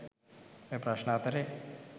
ඔය ප්‍රශ්න අතරේ